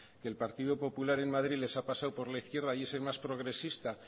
que el partido popular en madrid les ha pasado por la izquierda y es el más progresista